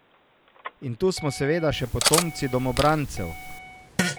In tu smo seveda še potomci domobrancev.